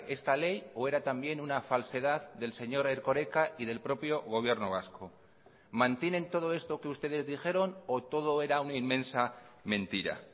esta ley o era también una falsedad del señor erkoreka y del propio gobierno vasco mantienen todo esto que ustedes dijeron o todo era una inmensa mentira